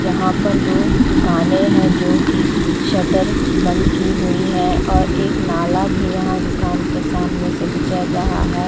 यहाँ पर दो दुकाने है जो कि शटर बंद की हुई है और एक नाला भी यहाँ दुकान के सामने से गुजर रहा है।